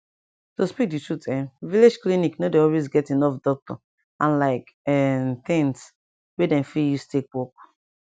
to speak di truth um village clinic nor dey always get enough doctor and like[um]things wey dem fit use take work